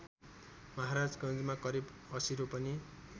महाराजगन्जमा करिब ८० रोपनि